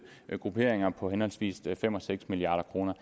grupperinger på henholdsvis fem og seks milliard kroner